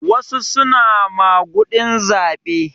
Wasu suna maguɗin zaɓe.